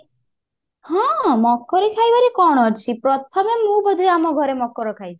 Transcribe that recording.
ହଁ ମକର ଖାଇବାରେ କଣ ଅଛି ପ୍ରଥମେ ମୁଁ ବୋଧେ ଆମ ଘରେ ମକର ଖାଇଛି।